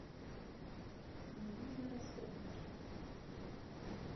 мне нужны расходники